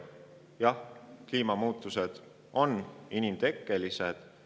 Jah, kliimamuutused on inimtekkelised.